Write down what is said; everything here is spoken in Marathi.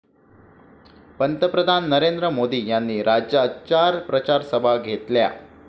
पंतप्रधान नरेंद्र मोदी यांनी राज्यात चार प्रचारसभा घेतल्या.